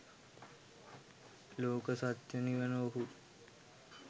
ලෝක සත්‍යය නිවන ඔහු